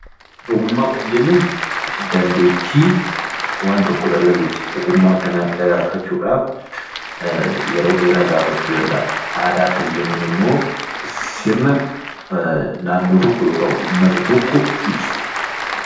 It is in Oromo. Ogummaa kan jennuun dandeettii waan tokko dalaguuti. Ogummaa kana dagaagfachuudhaaf yeroo dheeraa gaafachuu danda'a. Aadaa kan jennuun immoo sirna naannoo tokko yookaan Saba tokko ibsudha